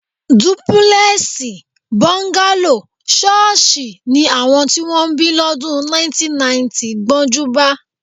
Dúpúlè̩è̩sì, bó̩ńgálò, s̩ó̩ó̩s̩ì ni àwo̩n tí wó̩n bí ló̩dùn 1990 gbó̩njúbá